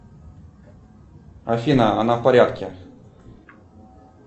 афина она в порядке